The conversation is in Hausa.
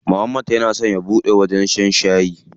Muhammad yana so ya buɗe wajen shan shayi.